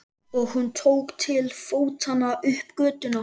Og hún tók til fótanna upp götuna.